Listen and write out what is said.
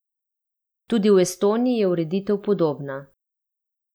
Tudi v Estoniji je ureditev podobna.